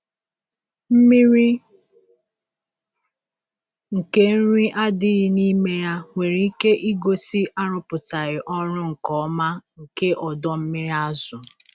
Mmiri nke nri adịghị n’ime ya nwere ike igosi arụpụtaghị ọrụ nke ọma nke ọdọ mmiri azụ.